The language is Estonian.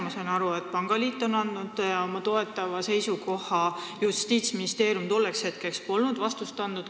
Ma sain aru, et pangaliit on juba andnud oma toetava seisukoha, Justiitsministeerium polnud aga tolleks hetkeks veel vastust andnud.